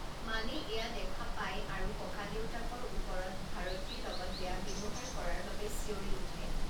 মানে এয়া দেখা পায় আৰু ককাদেউতাকৰ ওপৰত ভাৰতীৰ লগত বেয়া ব্যৱহাৰ কৰাৰ বাবে চিঞৰি উঠে।